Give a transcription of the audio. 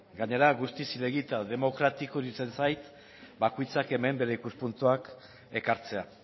gainera guztiz zilegi eta demokratiko iruditzen zait bakoitzak hemen bere ikuspuntuak ekartzea